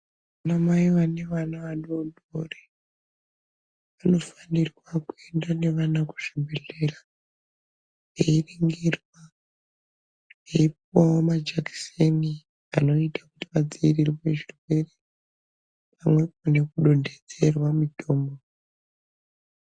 Vana mai vane vana vadodori vanofanirwa kuenda nevana kuzvibhedhlera veiningurwa veipuwa majekiseni anoita vadzikisirwe zvirwere pamwepo nekudongedzerwa mitombo.